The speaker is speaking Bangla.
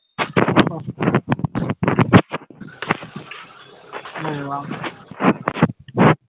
বুজলাম